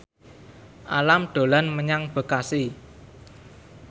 Alam dolan menyang Bekasi